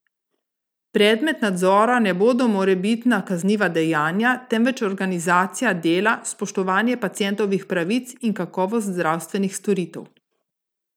Predmet nadzora ne bodo morebitna kazniva dejanja, temveč organizacija dela, spoštovanje pacientovih pravic in kakovost zdravstvenih storitev.